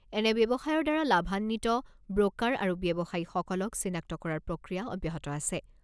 এনে ব্যৱসায়ৰ দ্বাৰা লাভান্বিত ব্ৰ'কাৰ আৰু ব্যৱসায়ীসকলক চিনাক্ত কৰাৰ প্ৰক্ৰিয়া অব্যাহত আছে।